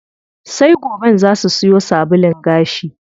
Sai goben zaa su siyo sabulun gashi.